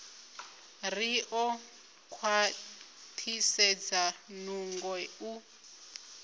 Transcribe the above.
ri ḓo khwaṱhisedza nungo u